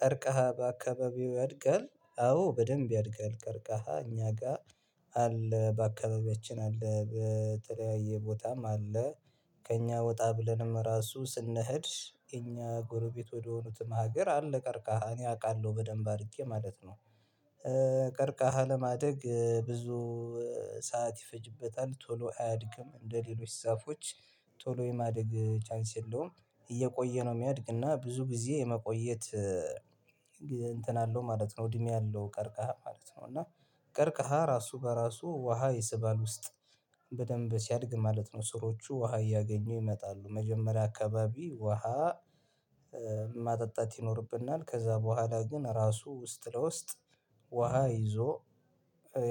ቀርቀሃ በአካባቢው ያድጋል አዎ በደንብ ያድጋል ቀርቀሃ እኛ አለ በአካባቢያችን አለ በተለያየ ቦታም አለ። ከእኛ ወጣ ብለንም ራሱ ስንሄድ እኛ ጎረቤት ወደሆኑትም ሀገር አለ ቀርቃሃ እኔ አውቃለሁ በደንብ አድርጌ ማለት ነው። ቀርቃሃ ለማደግ ብዙ ሰዓት ይፈጅበታል ቶሎ አያድግም እንደሌሎች ዛፎች። ቶሎ የማደግ ቻንስ የለውም እየቆየ ነው የሚያድግና ብዙ ጊዜ የመቆየት እንትን አለው ማለት ነው። እድሜ አለው ቀርቀሃ ማለት ነው። እና ቀርቀሃ ራሱ በራሱ ውሃ የሰባል ውስጥ በደንብ ሲያድግ ማለት ነው። ስሮቹ ውሃ እያገኙ ይመጣሉ መጀመሪያ አካባቢ ውሃ። ማጠጣት ይኖርብናል ከዛ በኋላ ግን ራሱ ውስጥ ለውስጥ ውሃ ይዞ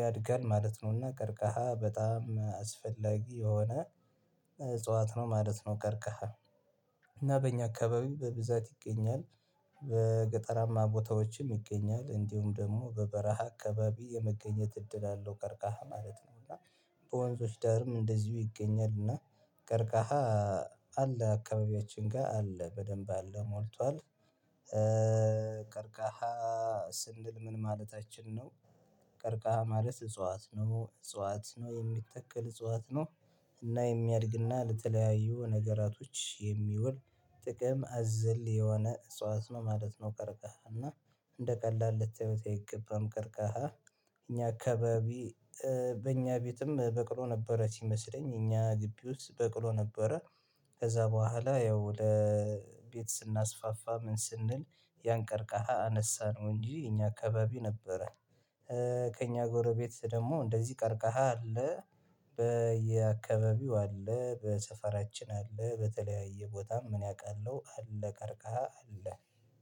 ያድጋል ማለት ነው። እና ቀርቀሃ በጣም አስፈላጊ የሆነ እጽዋት ነው ማለት ነው። ቀርከሃ እና በእኛ አካባቢ በብዛት ይገኛል። በገጠራማ ቦታዎችም ይገኛል እንዲሁም ደግሞ በበረሃ አካባቢ የመገኘት እድል አለው ቀርቃሃ ማለት ነው። እና በወንዞች ዳርም እንደዚሁ ይገኛል እና ቀርቃሃ አለ አካባቢያችን ጋር አለ በደንብ አለ ሞልቷል። ቀርቃሃ ስንል ምን ማለታችን ነው? ቀርቃሃ ማለት እጽዋት ነው እጽዋት ነው የሚተክል እጽዋት ነው። እና የሚያድግና ለተለያዩ ነገራቶች የሚውል ጥቅም አዘል የሆነ እጽዋት ነው ማለት ነው። ቀርቀሃ እና እንደ ቀላል ልታዩት አይገባም ቀርቀሃ። እኛ አካባቢ በእኛ ቤትም በቅሎ ነበረ ሲመስለኝ እኛ ግቢ ውስጥ በቅሎ ነበረ። ከዛ በኋላ ያው ለቤት ስናስፋፋ ምን ስንል ያንቀርቃሃ አነሳነው እንጂ እኛ አካባቢ ነበረ። ከእኛ ጎረቤት ደግሞ እንደዚህ ቀርቀሃል አለ። በየአካባቢው አለ በሰፈራችን አለ በተለያየ ቦታም እኔ አውቃለሁ አለ ቀርቃ አለ።